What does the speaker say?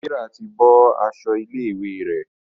Serah tí bó aṣọ ilé ìwé rẹ.